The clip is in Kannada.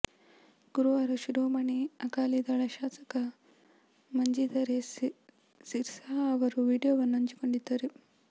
ಗುರುವಾರ ಶಿರೋಮಣಿ ಅಕಾಲಿ ದಳ ಶಾಸಕ ಮಂಜಿಂದರ್ ಎಸ್ ಸಿರ್ಸಾ ಅವರು ವಿಡಿಯೋವನ್ನು ಹಂಚಿಕೊಂಡಿದ್ದರು